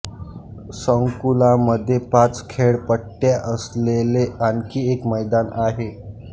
संकुलामध्ये पाच खेळपट्ट्या असलेले आणखी एक मैदान आहे